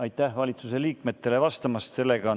Aitäh valitsuse liikmetele vastamast!